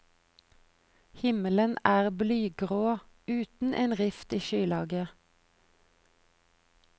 Himmelen er blygrå uten en rift i skylaget.